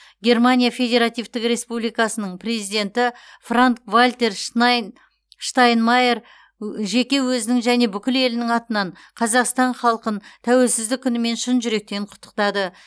германия федеративтік республикасының президенті франк вальтер шнай штайнмайер жеке өзінің және бүкіл елінің атынан қазақстан халқын тәуелсіздік күнімен шын жүректен құттықтады